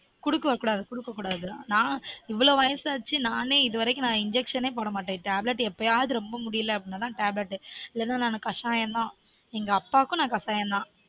குடுக்ககூடாது குடுக்ககூடாது நான் இவ்ளொ வயசாச்சு நானே இது வரைக்கும் injection போடமாட்டன் tablet எப்பயாவது ரொம்ப முடியலனா tablet இல்லனா கசாயம் தான் எங்க அப்பாவுக்கும் நான் கசாயம் தான்